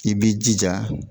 I b'i jija